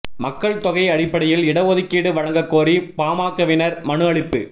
மக்கள்தொகை அடிப்படையில் இட ஒதுக்கீடு வழங்கக் கோரி பாமகவினா் மனு அளிப்பு